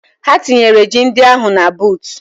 Ha tinyere ji ndị ahụ na buutu.